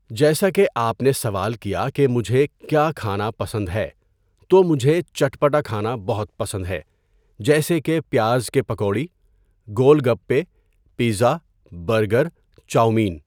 جیسے کہ آپ نے سوال کیا کہ مجھے کیا کھانا پسند ہے تو مجھے چٹپٹا کھانا بہت پسند ہے جیسے کہ پیاز کے پکوڑی، گول گپے پزا، برگر، چاؤمین.